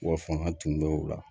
U b'a fɔ an ka tunumɛ o la